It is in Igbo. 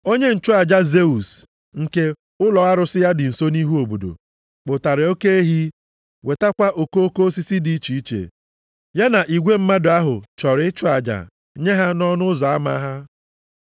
Onye nchụaja Zeus, nke ụlọ arụsị ya dị nso nʼihu obodo, kpụtara oke ehi wetakwa okoko osisi dị iche iche. Ya na igwe mmadụ ahụ chọrọ ịchụ aja nye ha nʼọnụ ụzọ ama ha.